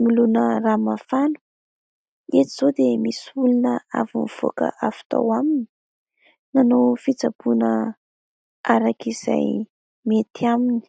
nolona rano mafana. Eto izao dia misy olona avy nivoaka avy tao aminy, nanao fitsaboana arak'izay mety aminy.